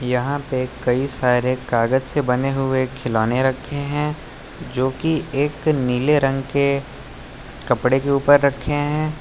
यहां पे कई सारे कागज से बने हुए खिलौने रखे हैं जो की एक नीले रंग के कपड़े के ऊपर रखे हैं।